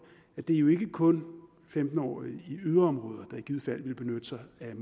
at det jo ikke kun er femten årige i yderområder der i givet fald ville benytte sig af